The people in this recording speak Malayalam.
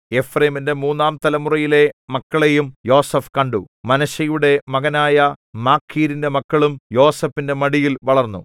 എഫ്രയീമിന്റെ മൂന്നാം തലമുറയിലെ മക്കളെയും യോസേഫ് കണ്ടു മനശ്ശെയുടെ മകനായ മാഖീരിന്റെ മക്കളും യോസേഫിന്റെ മടിയിൽ വളർന്നു